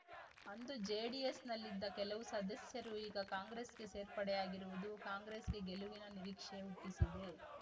ಅಂದು ಜೆಡಿಎಸ್‌ನಲ್ಲಿದ್ದ ಕೆಲವು ಸದಸ್ಯರು ಈಗ ಕಾಂಗ್ರೆಸ್‌ಗೆ ಸೇರ್ಪಡೆಯಾಗಿರುವುದು ಕಾಂಗ್ರೆಸ್‌ಗೆ ಗೆಲುವಿನ ನಿರೀಕ್ಷೆ ಹುಟ್ಟಿಸಿದೆ